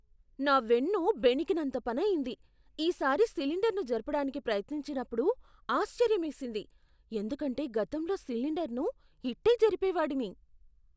నా వెన్ను బెణికినంత పనయింది, ఈసారి సిలిండర్ను జరపడానికి ప్రయత్నించినప్పుడు ఆశ్చర్యమేసింది, ఎందుకంటే గతంలో సిలిండర్ను ఇట్టే జరిపేవాడిని.